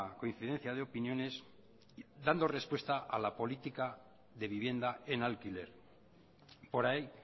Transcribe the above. coincidencia de opiniones dando respuesta a la política de vivienda en alquiler por ahí